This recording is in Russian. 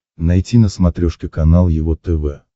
найти на смотрешке канал его тв